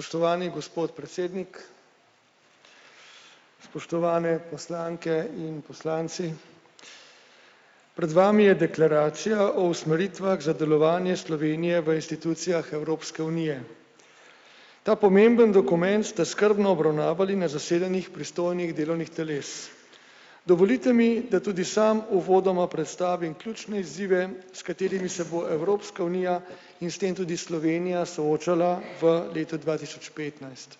Spoštovani gospod predsednik. Spoštovane poslanke in poslanci. Pred vami je deklaracija o usmeritvah za delovanje Slovenije v inštitucijah Evropske unije. Ta pomembni dokument sta skrbno obravnavali na zasedanjih pristojnih delovnih teles. Dovolite mi, da tudi sam uvodoma predstavim ključne izzive, s katerimi se bo Evropska unija in s tem tudi Slovenija soočala v letu dva tisoč petnajst.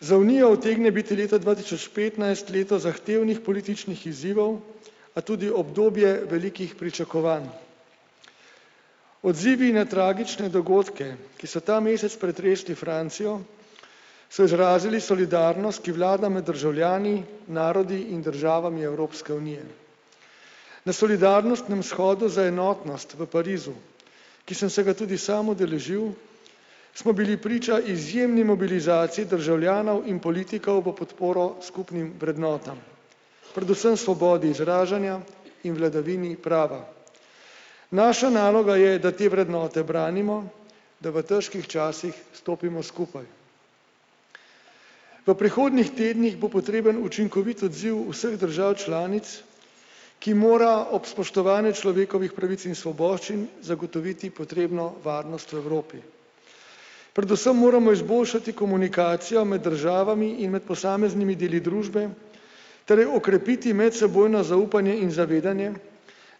Za Unijo utegne biti leta dva tisoč petnajst leto zahtevnih političnih izzivov, a tudi obdobje velikih pričakovanj. Odzivi na tragične dogodke, ki so ta mesec pretresli Francijo, so izrazili solidarnost, ki vlada med državljani narodi in državami Evropske unije. Na solidarnostnem shodu za enotnost v Parizu, ki sem se ga tudi sam udeležil, smo bili priča izjemni mobilizaciji državljanov in politikov v podporo skupnim vrednotam. Predvsem svobodi izražanja in vladavini prava. Naša naloga je, da te vrednote branimo, da v težkih časih stopimo skupaj. V prihodnjih tednih bo potreben učinkovit odziv vseh držav članic, ki mora ob spoštovanju človekovih pravic in svoboščin zagotoviti potrebno varnost v Evropi. Predvsem moramo izboljšati komunikacijo med državami in med posameznimi deli družbe ter okrepiti medsebojno zaupanje in zavedanje,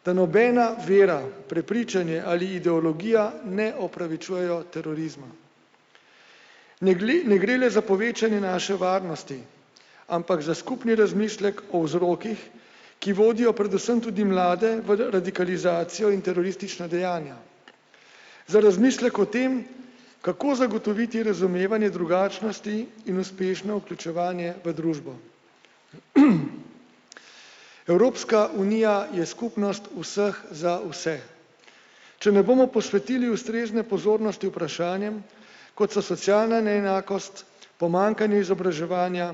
da nobena vera, prepričanje ali ideologija ne opravičujejo terorizma. Ne ne gre le za povečanje naše varnosti, ampak za skupni razmislek o vzrokih, ki vodijo predvsem tudi mlade v radikalizacijo in teroristična dejanja. Za razmislek o tem, kako zagotoviti razumevanje drugačnosti in uspešno vključevanje v družbo. Evropska unija je skupnost vseh za vse. Če ne bomo posvetili ustrezne pozornosti vprašanjem, kot so socialna neenakost, pomanjkanje izobraževanja,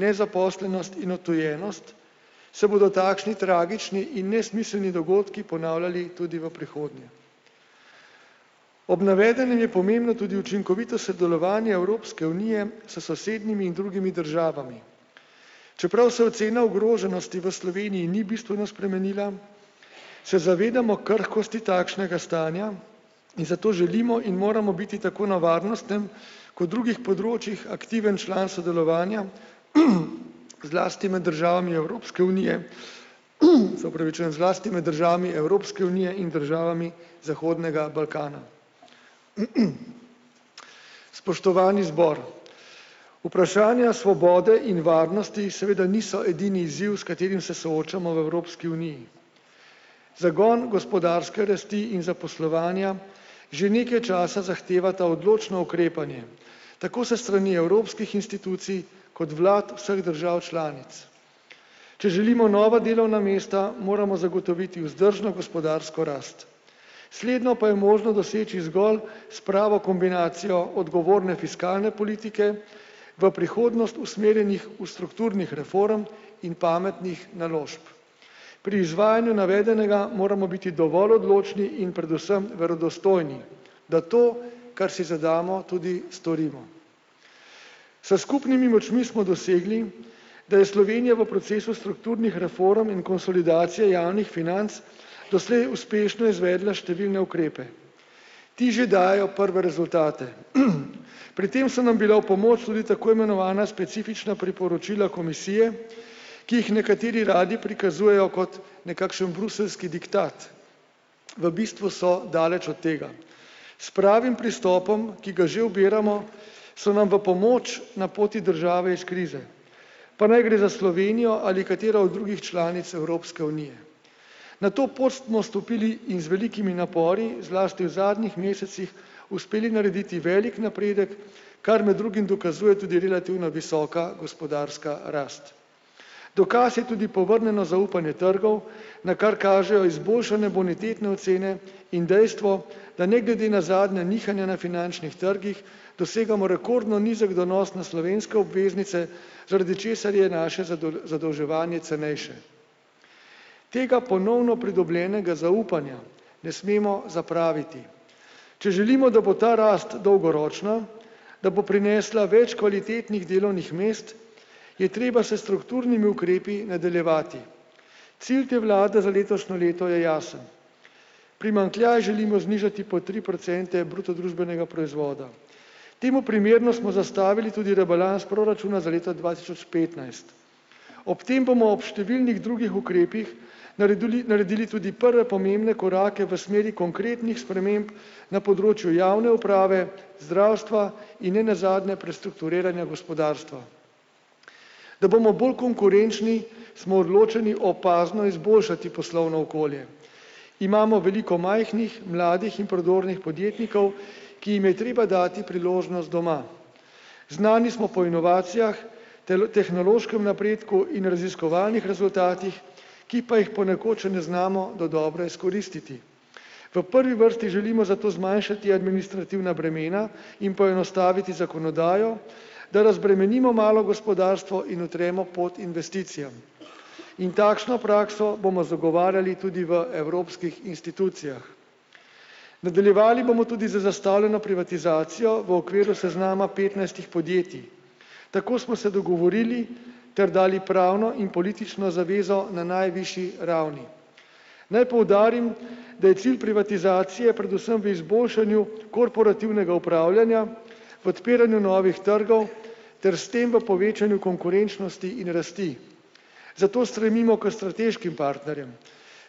nezaposlenost in odtujenost, se bodo takšni tragični in nesmiselni dogodki ponavljali tudi v prihodnje. Ob navedenem je pomembno tudi učinkovito sodelovanje Evropske unije s sosednjimi in drugimi državami. Čeprav se ocena ogroženosti v Sloveniji ni bistveno spremenila, se zavedamo krhkosti takšnega stanja in zato želimo in moramo biti tako na varnostnem kot drugih področjih aktiven član sodelovanja zlasti med državami Evropske unije, se opravičujem, zlasti med državami Evropske unije in državami zahodnega Balkana. Spoštovani zbor. Vprašanja svobode in varnosti seveda niso edini izziv, s katerim se soočamo v Evropski uniji. Zagon gospodarske rasti in zaposlovanja že nekaj časa zahtevata odločno ukrepanje tako s strani evropskih institucij kot vlad vseh držav članic. Če želimo nova delovna mesta moramo zagotoviti vzdržno gospodarsko rast. Slednjo pa je možno doseči zgolj s pravo kombinacijo odgovorne fiskalne politike v prihodnost usmerjenih v strukturnih reform in pametnih naložb. Pri izvajanju navedenega moramo biti dovolj odločni in predvsem verodostojni, da to, kar si zadamo, tudi storimo. S skupnimi močmi smo dosegli, da je Slovenija v procesu strukturnih reform in konsolidacije javnih financ doslej uspešno izvedla številne ukrepe. Ti že dajejo prve rezultate. Pri tem so nam bila v pomoč tudi tako imenovana specifična priporočila Komisije, ki jih nekateri radi prikazujejo kot nekakšen bruseljski diktat. V bistvu so daleč od tega. S pravim pristopom, ki ga že ubiramo, so nam v pomoč na poti države iz krize. Pa naj gre za Slovenijo ali katero od drugih članic Evropske unije. Na to pot smo stopili, in z velikimi napori zlasti v zadnjih mesecih uspeli narediti velik napredek, kar med drugim dokazuje tudi relativno visoka gospodarska rast. Dokaz je tudi povrnjeno zaupanje trgov, na kar kažejo izboljšane bonitetne ocene in dejstvo, da ne glede na zadnja nihanja na finančnih trgih dosegamo rekordno nizek donos na slovenske obveznice, zaradi česar je naše zadolževanje cenejše. Tega ponovno pridobljenega zaupanja ne smemo zapraviti. Če želimo, da bo ta rast dolgoročna, da bo prinesla več kvalitetnih delovnih mest, je treba s strukturnimi ukrepi nadaljevati. Cilj te vlade za letošnjo leto je jasen. Primanjkljaj želimo znižati po tri procente bruto družbenega proizvoda. Temu primerno smo zastavili tudi rebalans proračuna za leto dva tisoč petnajst. Ob tem bomo ob številnih drugih ukrepih nareduli naredili tudi prve pomembne korake v smeri konkretnih sprememb na področju javne uprave, zdravstva in nenazadnje prestrukturiranje gospodarstva. Da bomo bolj konkurenčni, smo odločeni opazno izboljšati poslovno okolje. Imamo veliko majhnih, mladih in prodornih podjetnikov, ki jim je treba dati priložnost doma. Znani smo po inovacijah, tehnološkem napredku in raziskovalnih rezultatih, ki pa jih ponekod še ne znamo dodobra izkoristiti. V prvi vrsti želimo zato zmanjšati administrativna bremena in poenostaviti zakonodajo, da razbremenimo malo gospodarstvo in utremo pot investicijam. In takšno prakso bomo zagovarjali tudi v evropskih institucijah. Nadaljevali bomo tudi z zastavljeno privatizacijo v okviru seznama petnajstih podjetij. Tako smo se dogovorili ter dali pravno in politično zavezo na najvišji ravni. Naj poudarim, da je cilj privatizacije predvsem v izboljšanju korporativnega upravljanja v odpiranju novih trgov ter s tem v povečanju konkurenčnosti in rasti. Zato stremimo k strateškim partnerjem.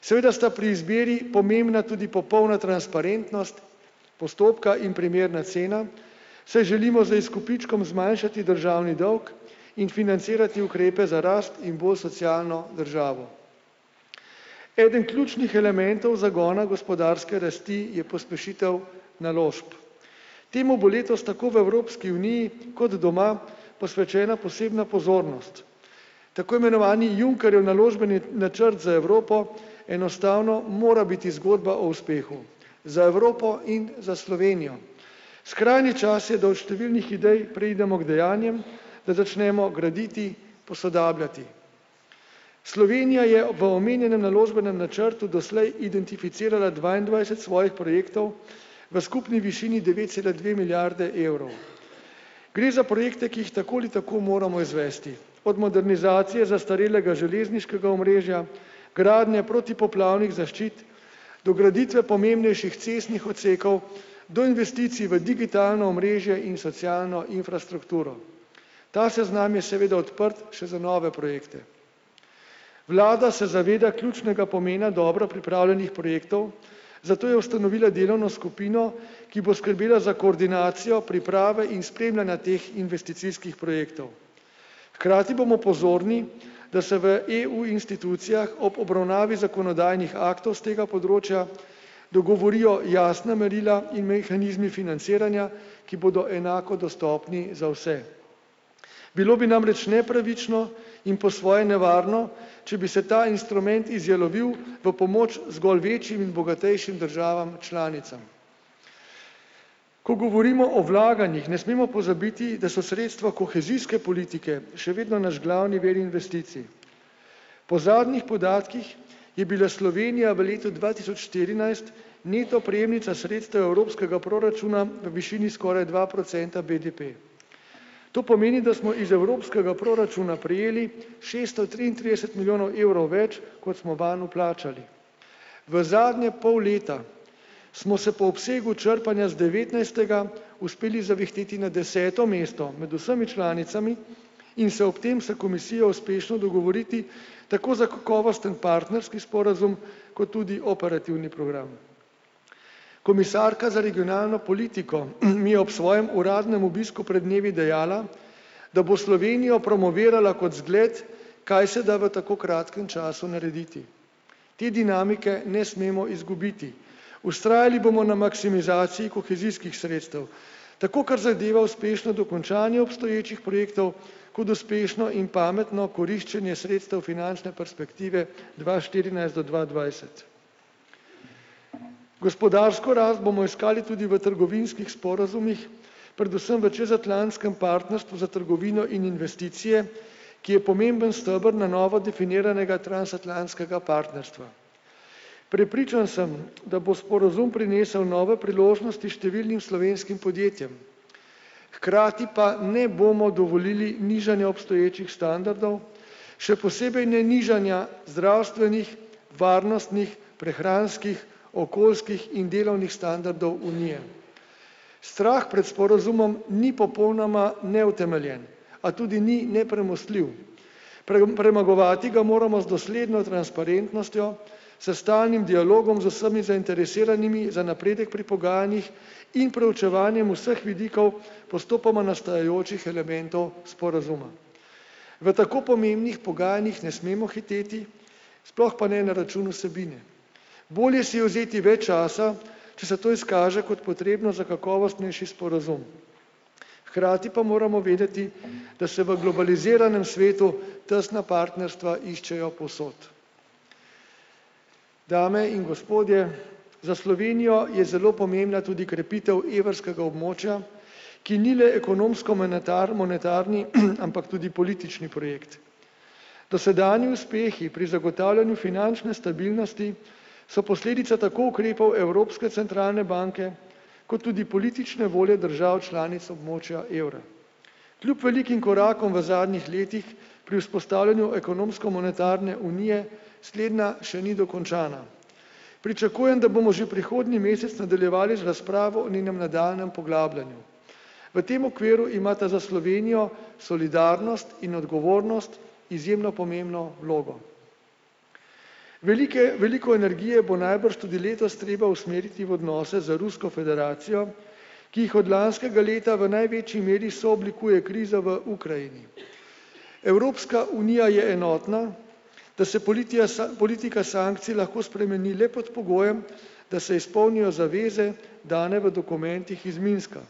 Seveda sta pri izbiri pomembna tudi popolna transparentnost postopka in primerna cena, saj želimo z izkupičkom zmanjšati državni dolg in financirati ukrepe za rast in bolj socialno državo. Eden ključnih elementov zagona gospodarske rasti je pospešitev naložb. Temu bo letos tako v Evropski uniji kot doma posvečena posebna pozornost. Tako imenovani Junckerjev naložbeni načrt za Evropo enostavno mora biti zgodba o uspehu za Evropo in za Slovenijo. Skrajni čas je, da od številnih idej preidemo k dejanjem, da začnemo graditi posodabljati. Slovenija je v omenjenem naložbenem načrtu doslej identificirala dvaindvajset svojih projektov v skupni višini devet cela dve milijarde evrov. Gre za projekte, ki jih tako ali tako moramo izvesti. Od modernizacije zastarelega železniškega omrežja gradnje protipoplavnih zaščit, dograditve pomembnejših cestnih odsekov, do investicij v digitalno omrežje in socialno infrastrukturo. Ta seznam je seveda odprt še za nove projekte. Vlada se zaveda ključnega pomena dobro pripravljenih projektov, zato je ustanovila delovno skupino, ki bo skrbela za koordinacijo priprave in spremljanja teh investicijskih projektov. Hkrati bomo pozorni da se v EU-institucijah ob obravnavi zakonodajnih aktov s tega področja dogovorijo jasna merila in mehanizmi financiranja, ki bodo enako dostopni za vse. Bilo bi namreč nepravično in po svoje nevarno, če bi se ta instrument izjalovil v pomoč zgolj večjim bogatejšim državam članicam. Ko govorimo o vlaganjih ne smemo pozabiti, da so sredstva kohezijske politike še vedno naš glavni vir investicij. Po zadnjih podatkih je bila Slovenija v letu dva tisoč štirinajst neto prejemnica sredstev evropskega proračuna v višini skoraj dva procenta BDP. To pomeni, da smo iz evropskega proračuna prejeli šesto triintrideset milijonov evrov več, kot smo vanj vplačali. V zadnje pol leta smo se po obsegu črpanja z devetnajstega uspeli zavihteti na deseto mesto med vsemi članicami in se ob tem se Komisijo uspešno dogovoriti tako za kakovosten partnerski sporazum kot tudi operativni program. Komisarka za regionalno politiko je ob svojem uradnem obisku pred dnevi dejala, da bo Slovenijo promovirala kot zgled, kaj se da v tako kratkem času narediti. Te dinamike ne smemo izgubiti. Vztrajali bomo na maksimizaciji kohezijskih sredstev. Tako kar zadeva uspešno dokončanje obstoječih projektov kot uspešno in pametno koriščenje sredstev finančne perspektive dva štirinajst do dva dvajset. Gospodarsko rast bomo iskali tudi v trgovinskih sporazumih, predvsem v čezatlantskem partnerstvu s trgovino in investicije, ki je pomemben steber na novo definiranega transatlantskega partnerstva. Prepričan sem, da bo sporazum prinesel novo priložnost številnim slovenskim podjetjem. Hkrati pa ne bomo dovolili nižanja obstoječih standardov, še posebej ne nižanja zdravstvenih, varnostnih, prehranskih, okoljskih in delovnih standardov Unije. Strah pred sporazumom ni popolnoma neutemeljen, a tudi ni nepremostljiv. premagovati ga moramo z dosledno transparentnostjo, s stalnim dialogom z vsemi zainteresiranimi za napredek pri pogajanjih in preučevanjem vseh vidikov postopoma nastajajočih elementov sporazuma. V tako pomembnih pogajanjih ne smemo hiteti, sploh pa ne na račun vsebine. Bolje si je vzeti več časa, če se to izkaže kot potrebno za kakovostnejši sporazum. Hkrati pa moramo vedeti, da se v globaliziranem svetu tesna partnerstva iščejo povsod. Dame in gospodje, za Slovenijo je zelo pomembna tudi krepitev evrskega območja, ki ni le ekonomsko-monetar() monetarni, ampak tudi politični projekt. Dosedanji uspehi pri zagotavljanju finančne stabilnosti so posledica tako ukrepov Evropske centralne banke kot tudi politične volje držav članic območja evra. Kljub velikim korakom v zadnjih letih pri vzpostavljanju ekonomsko-monetarne unije slednja še ni dokončana. Pričakujem, da bomo že prihodnji mesec nadaljevali z razpravo o ninem idealnem poglabljanju. V tem okviru imata za Slovenijo solidarnost in odgovornost izjemno pomembno vlogo. Velike veliko energije bo najbrž tudi letos treba usmeriti v odnose z Rusko federacijo, ki jih od lanskega leta v največji meri sooblikuje kriza v Ukrajini. Evropska unija je enotna, da se politika sankcij lahko spremeni le pod pogojem, da se izpolnijo zaveze, dane v dokumentih iz Minska.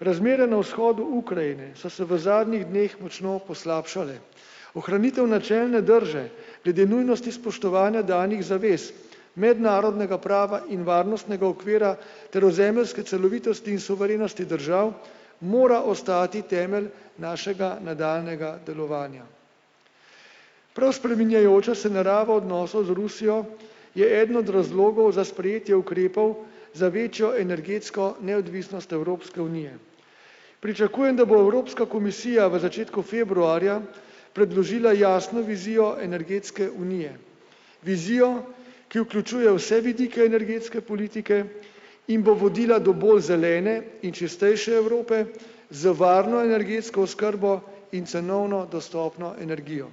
Razmere na vzhodu Ukrajine so se v zadnjih dneh močno poslabšale. Ohranitev načelne drže glede nujnosti spoštovanja danih zavez mednarodnega prava in varnostnega okvira ter v zemeljske celovitosti in suverenosti držav mora ostati temelj našega nadaljnjega delovanja. Prav spreminjajoča se narava odnosov z Rusijo je eden od razlogov za sprejetje ukrepov za večjo energetsko neodvisnost Evropske unije. Pričakujem, da bo Evropska komisija v začetku februarja predložila jasno vizijo energetske unije. Vizijo, ki vključuje vse vidike energetske politike in bo vodila do bolj zelene in čistejše Evrope z varno energetsko oskrbo in cenovno dostopno energijo.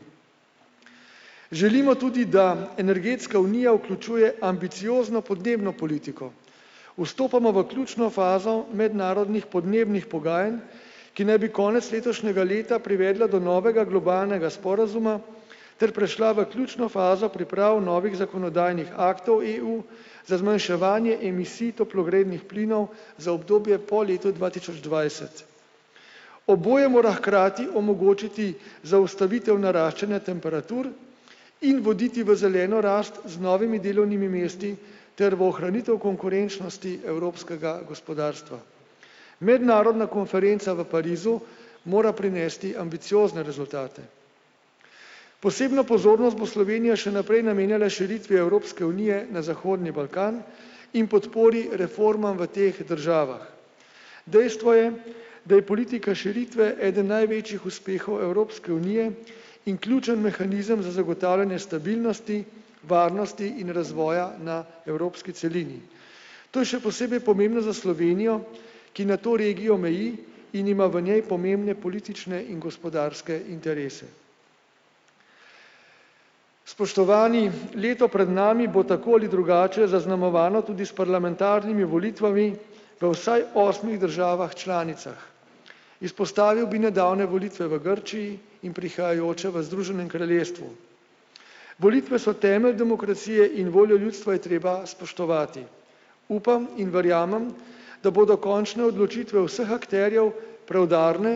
Želimo tudi, da energetska unija vključuje ambiciozno podnebno politiko. Vstopamo v ključno fazo mednarodnih podnebnih pogajanj, ki naj bi konec letošnjega leta privedla do novega globalnega sporazuma ter prišla v ključno fazo pripravi novih zakonodajnih aktov EU za zmanjševanje emisij toplogrednih plinov za obdobje po letu dva tisoč dvajset. Oboje mora hkrati omogočiti zaustavitev naraščanja temperatur in voditi v zeleno rast z novimi delovnimi mesti ter v ohranitev konkurenčnosti evropskega gospodarstva. Mednarodna konferenca v Parizu mora prinesti ambiciozne rezultate. Posebno pozornost bo Slovenija še naprej namenjala širitvi Evropske unije na zahodni Balkan in podpori reformam v teh državah. Dejstvo je, da je politika širitve eden največjih uspehov Evropske unije in ključni mehanizem za zagotavljanje stabilnosti varnosti in razvoja na evropski celini. To je še posebej pomembno za Slovenijo, ki na to regijo meji in ima v njej pomembne politične in gospodarske interese. Spoštovani, leto pred nami bo tako ali drugače zaznamovano tudi s parlamentarnimi volitvami v vsaj osmih državah članicah. Izpostavil bi nadaljnje volitve v Grčiji in prihajajoče v Združenem kraljestvu. Volitve so temelj demokracije in voljo ljudstva je treba spoštovati. Upam in verjamem, da bodo končne odločitve vseh akterjev preudarne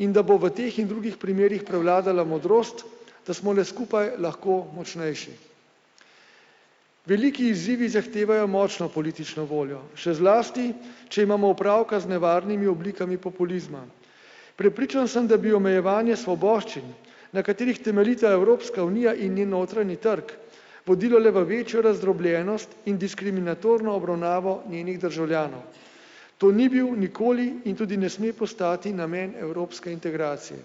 in da bo v teh in drugih primerih prevladala modrost, da smo le skupaj lahko močnejši. Veliki izzivi zahtevajo močno politično voljo, še zlasti če imamo opravka z nevarnimi oblikami populizma. Prepričan sem, da bi omejevanje svoboščin, na katerih temeljita Evropska unija in njen notranji trg, vodilo le v večjo razdrobljenost in diskriminatorno obravnavo njenih državljanov. To ni bil nikoli in tudi ne sme postati namen evropske integracije.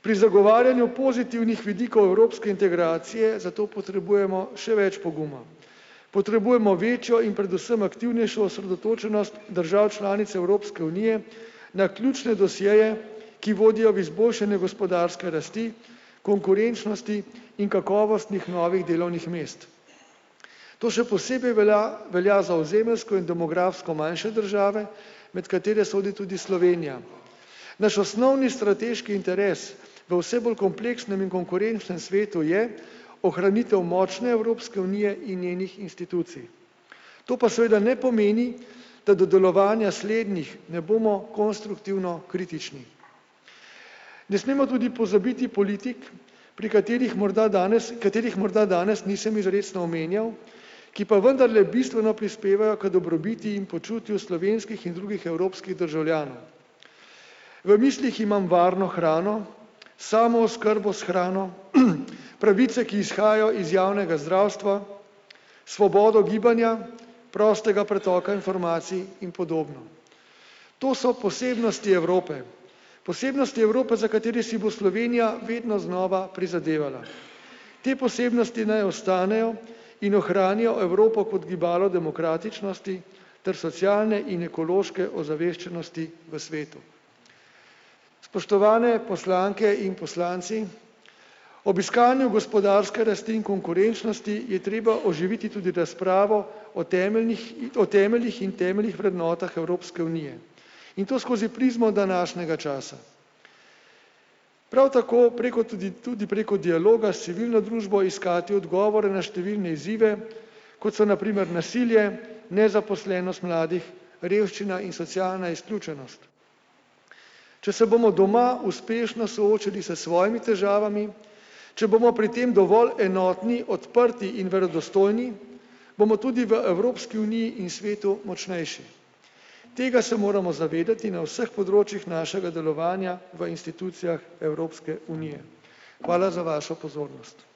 Pri zagovarjanju pozitivnih vidikov evropske integracije zato potrebujemo še več poguma. Potrebujemo večjo in predvsem aktivnejšo osredotočenost držav članic Evropske unije, naključne dosjeje, ki vodijo v izboljšanje gospodarske rasti, konkurenčnosti in kakovostnih novih delovnih mest. To še posebej velja velja za ozemeljsko in demografsko manjše države, med katere sodi tudi Slovenija. Naš osnovni strateški interes v vse bolj kompleksnem in konkurenčnem svetu je ohranitev močne Evropske unije in njenih institucij. To pa seveda ne pomeni, da do delovanja slednjih ne bomo konstruktivno kritični. Ne smemo tudi pozabiti politik, pri katerih morda danes katerih morda danes nisem izrecno omenjal, ki pa vendarle bistveno prispevajo k dobrobiti in počutju slovenskih in drugih evropskih državljanov. V mislih imam varno hrano, samooskrbo s hrano, pravice, ki izhajajo iz javnega zdravstva svobodo gibanja, prostega pretoka informacij in podobno. To so posebnosti Evrope, posebnosti Evrope, za katere si bo Slovenija vedno znova prizadevala. Te posebnosti naj ostanejo in ohranijo Evropo kot gibalo demokratičnosti ter socialne in ekološke ozaveščenosti v svetu. Spoštovane poslanke in poslanci, ob iskanju gospodarske rasti in konkurenčnosti je treba oživiti tudi razpravo o temeljnih o temeljih in temeljnih vrednotah Evropske unije. In to skozi prizmo današnjega časa. Prav tako preko tudi tudi preko dialoga s civilno družbo iskati odgovore na številne izzive, kot so na primer nasilje, nezaposlenost mladih, revščina in socialna izključenost. Če se bomo doma uspešno soočili s svojimi težavami, če bomo pri tem dovolj enotni, odprti in verodostojni, bomo tudi v Evropski uniji in svetu močnejši. Tega se moramo zavedati na vseh področjih našega delovanja v institucijah Evropske unije. Hvala za vašo pozornost.